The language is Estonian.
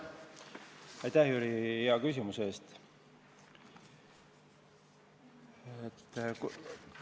Aitäh, Jüri, hea küsimuse eest!